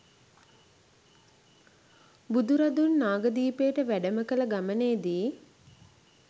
බුදුරදුන් නාගදීපයට වැඩම කළ ගමනේ දී